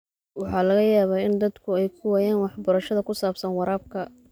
Waxaa laga yaabaa in dadku ay waayaan waxbarashada ku saabsan waraabka.